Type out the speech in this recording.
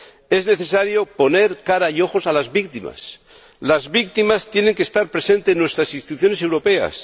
Es necesario poner cara y ojos a las víctimas. Las víctimas tienen que estar presentes en nuestras instituciones europeas.